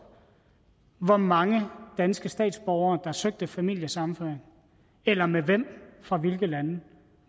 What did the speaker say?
hvor mange danske statsborgere der søgte familiesammenføring eller med hvem fra hvilke lande